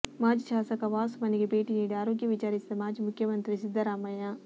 ಮಾಜಿ ಶಾಸಕ ವಾಸು ಮನೆಗೆ ಭೇಟಿ ನೀಡಿ ಆರೋಗ್ಯ ವಿಚಾರಿಸಿದ ಮಾಜಿ ಮುಖ್ಯಮಂತ್ರಿ ಸಿದ್ದರಾಮಯ್ಯ